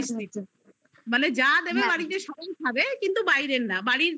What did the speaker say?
মানে যা দেবে বাড়িতে সব এই খাবে কিন্তু বাইরের না বাড়ির